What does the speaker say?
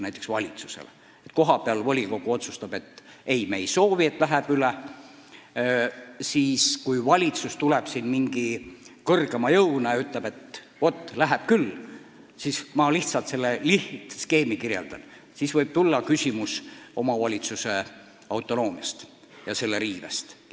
Kui kohapeal volikogu otsustab, et me ei soovi sellist lahendust, aga valitsus ilmutab end mingi kõrgema jõuna ja ütleb, et teeme ikkagi – ma lihtsalt kirjeldan lihtsustatult skeemi –, siis võib üles kerkida küsimus omavalitsuse autonoomia riivest.